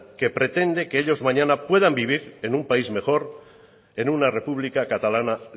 que pretende que ellos mañana puedan vivir en un país mejor en una república catalana